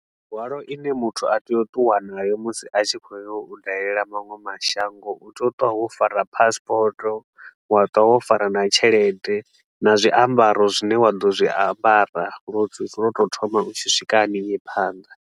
Mihwalo i ne muthu a tea u ṱuwa nayo musi a tshi khou ya u dalela maṅwe mashango, u tea u ṱuwa wo fara passport, wa ṱuwa wo fara na tshelede na zwiambaro zwine wa ḓo zwi ambara lwa u tsa lwa u tou thoma u tshi swika hanengei phanḓa.